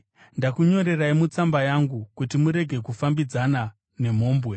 Ndakunyorerai mutsamba yangu kuti murege kufambidzana nemhombwe,